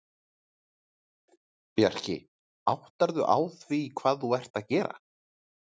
Bjarki, áttarðu á því hvað þú ert að gera?